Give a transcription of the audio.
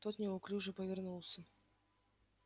тот неуклюже повернулся